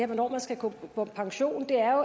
hvornår man skal gå på pension er